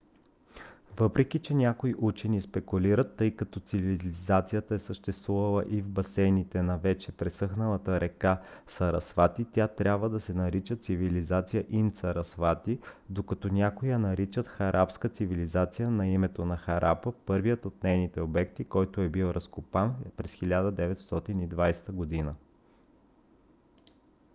въпреки че някои учени спекулират че тъй като цивилизацията е съществувала и в басейните на вече пресъхналата река сарасвати тя трябва да се нарича цивилизация инд-сарасвати докато някои я наричат харапска цивилизация на името на харапа първият от нейните обекти който е бил разкопан през 1920 г